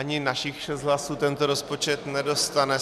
Ani našich šest hlasů tento rozpočet nedostane.